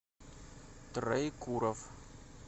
троекуровъ